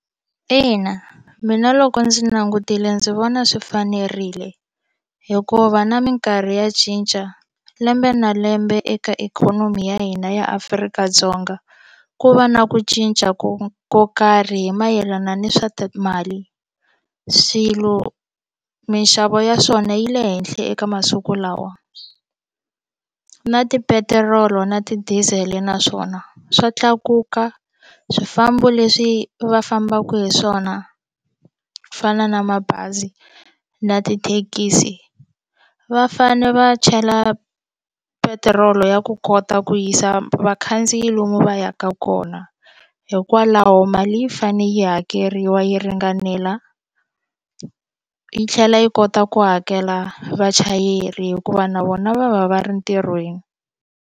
Ina, mina loko ndzi langutile ndzi vona swi fanerile hikuva na mikarhi ya cinca lembe na lembe eka ikhonomi ya hina ya Afrika-Dzonga ku va na ku cinca ko ko karhi hi mayelana na swa timali swilo mixavo ya swona yi le henhla eka masiku lawa na tipetirolo na ti-diesel-e naswona swa tlakuka swifambo leswi va fambaku hi swona ku fana na mabazi na tithekisi va fane va chela petiroli ya ku kota ku yisa vakhandziyi lomu va yaka kona hikwalaho mali yi fane yi hakeriwa yi ringanela yi tlhela yi kota ku hakela vachayeri hikuva na vona va va va ri ntirhweni.